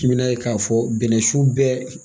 I bɛn'a ye k'a fɔ bɛnɛsu bɛɛ